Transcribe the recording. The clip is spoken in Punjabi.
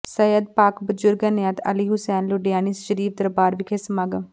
ਸਈਅਦ ਪਾਕਿ ਬਜ਼ੁਰਗ ਅਨਾਇਤ ਅਲੀ ਹੁਸੈਨ ਲੁਡਿਆਣੀ ਸ਼ਰੀਫ਼ ਦਰਬਾਰ ਵਿਖੇ ਸਮਾਗਮ